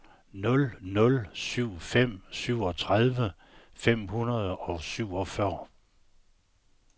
nul nul syv fem syvogtredive fem hundrede og syvogfyrre